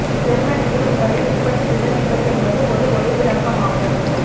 ஜேர்மனியில் உங்களை எப்படி விவரிப்பது என்பது ஒரு ஒலி விளக்கம் ஆகும்